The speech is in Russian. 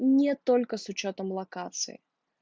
нет только с учётом локации